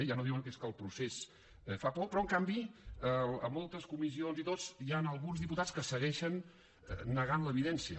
ja no diuen que és que el procés fa por però en canvi en moltes comissions i tot hi han alguns diputats que segueixen negant l’evidència